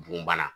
Bon bana